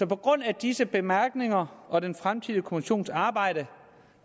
baggrund af disse bemærkninger og den fremtidige kommissions arbejde